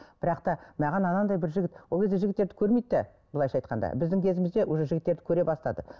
бірақ та маған анандай бір жігіт ол кезде жігіттерді көрмейді де былайынша айтқанда біздің кезімізде уже жігіттерді көре бастады